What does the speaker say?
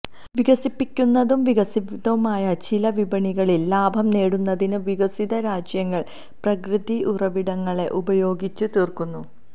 വികസിപ്പിക്കുന്നതും വികസിതവുമായ ചില വിപണികളിൽ ലാഭം നേടുന്നതിന് വികസിതരാജ്യങ്ങൾ പ്രകൃതി ഉറവിടങ്ങളെ ഉപയോഗിച്ചു തീര്ക്കുന്നു